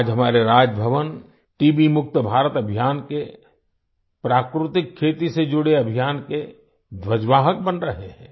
आज हमारे राजभवन टीबी मुक्त भारत अभियान के प्राकृतिक खेती से जुड़े अभियान के ध्वजवाहक बन रहे हैं